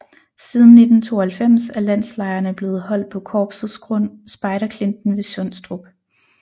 Siden 1992 er landslejrene blevet holdt på korpsets grund Spejderklinten ved Sundstrup